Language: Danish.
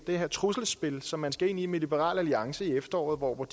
det her trusselsspil som man skal ind i med liberal alliance i efteråret hvor